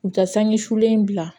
U ka sanji sulen bila